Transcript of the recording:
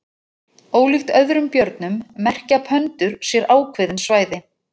Ólíkt öðrum björnum merkja pöndur sér ákveðin svæði.